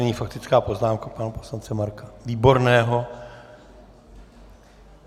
Nyní faktická poznámka pana poslance Marka Výborného.